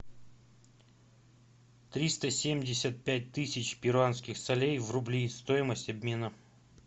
триста семьдесят пять тысяч перуанских солей в рубли стоимость обмена